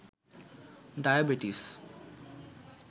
diabetes